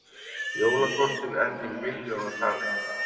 Jólakortin enn í milljónatali